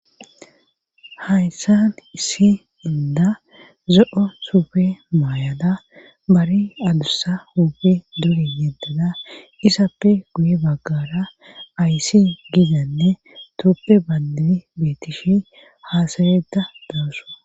hayssan issi inda zo7o suufe maayada bari adussa huuph duge yeddada isappe guye baggara ayssi gidanne tuuppe bandidi beetishi haasayeda dawusu